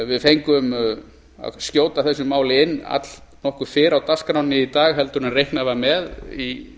við fengum að skjóta þessu máli inn allnokkru fyrr á dagskránni í dag en reiknað var með í